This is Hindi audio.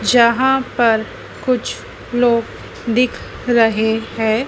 यहां पर कुछ लोग दिख रहे हैं।